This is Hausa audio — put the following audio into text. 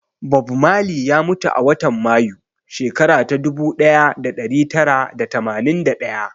Bob Marley ya mutu a watan Mayu, shekara ta ɗubu ɗaya da ɗari tara da tamanin da ɗaya.